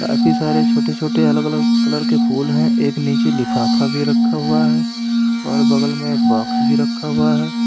काफी सारे छोटे छोटे अलग अलग कलर के फूल है एक नीचे लिफाफा भी रखा हुआ है और बगल में एक बॉक्स भी रखा हुआ है।